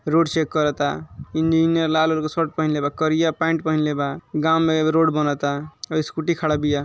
Road check करता engineer रंग shirt पहन लेबा करिया पेंट पहने लेबा गांव में एगो रोड बनता एगो स्कूटी खड़ाबिया।